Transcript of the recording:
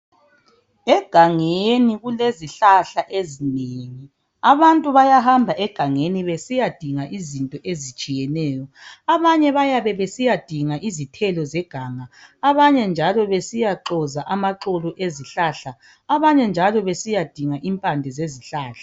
Egangeni kulezihlahla ezingeni. Abantu bayahamba egangeni zesiyadinga izinto ezitshiyeneyo. Abanye bayabesiyadinga izithelo zeganga, abanye njalo besiya xoza amaxolo ezihlahla abanye njalo besiyadinga impande zezihlahla.